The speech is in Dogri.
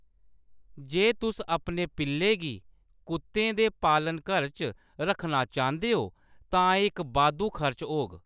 जे तुस अपने पिल्ले गी कुत्तें दे पालनघर च रक्खना चांह्‌‌‌दे ओ तां एह्‌‌ इक बाद्धू खर्च होग।